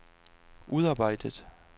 udarbejdet